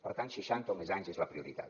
per tant seixanta o més anys és la prioritat